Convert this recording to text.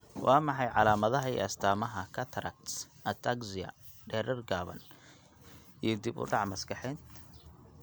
Waa maxay calaamadaha iyo astaamaha cataracts, ataxia, dherer gaaban, iyo dib u dhac maskaxeed?